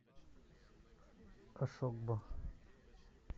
ошогбо